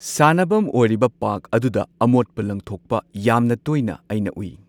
ꯁꯥꯟꯅꯕꯝ ꯑꯣꯏꯔꯤꯕ ꯄꯥꯔꯛ ꯑꯗꯨꯗ ꯑꯃꯣꯠꯄ ꯂꯪꯊꯣꯛꯄ ꯌꯥꯝꯅ ꯇꯣꯏꯅ ꯑꯩꯅ ꯎꯏ꯫